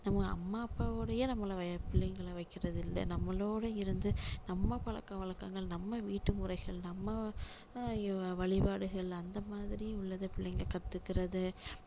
நம்ம அம்மா அப்பா உடையே நம்மள பிள்ளைங்களை வைக்கிறது இல்லை நம்மளோட இருந்து நம்ம பழக்க வழக்கங்கள் நம்ம வீட்டு முறைகள் நம்ம அஹ் வழிபாடுகள் அந்த மாதிரி உள்ளதை பிள்ளைங்க கத்துக்கிறது